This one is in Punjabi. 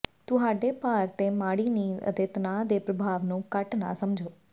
ਤੁਹਾਡੇ ਭਾਰ ਤੇ ਮਾੜੀ ਨੀਂਦ ਅਤੇ ਤਣਾਅ ਦੇ ਪ੍ਰਭਾਵ ਨੂੰ ਘੱਟ ਨਾ ਸਮਝੋ